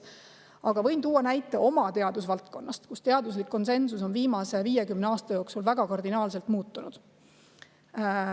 Aga võin tuua näite oma teadusvaldkonnast, kus teaduslik konsensus on viimase 50 aasta jooksul väga kardinaalselt muutunud.